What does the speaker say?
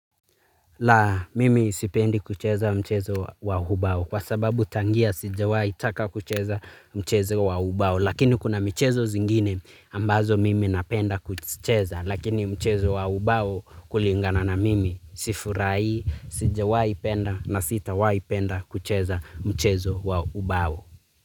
Laa mimi sipendi kucheza mchezo wa ubao kwa sababu tangia sijawai taka kucheza mchezo wa ubao lakini kuna michezo zingine ambazo mimi napenda kucheza lakini mchezo wa ubao kulingana na mimi sifurahii sijawai penda na sitawai penda kucheza mchezo wa ubao.